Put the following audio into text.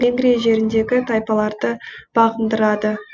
венгрия жеріндегі тайпаларды бағындырады